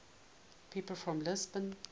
people from lisbon